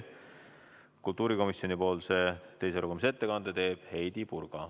Kultuurikomisjoni nimel teeb teise lugemise ettekande Heidy Purga.